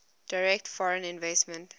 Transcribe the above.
direct foreign investment